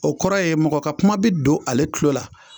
O kɔrɔ ye mɔgɔ ka kuma bɛ don ale tulo la